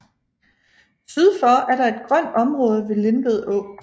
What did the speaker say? Syd for er der et grønt område ved Lindved Å